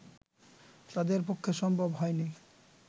তাঁদের পক্ষে সম্ভব হয়নি